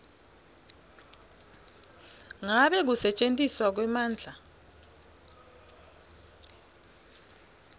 ngabe kusetjentiswa kwemandla